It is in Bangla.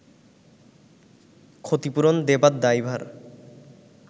ক্ষতিপূরণ দেবার দায়ভার